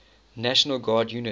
national guard units